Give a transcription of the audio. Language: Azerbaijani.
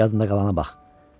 Yadında qalana bax.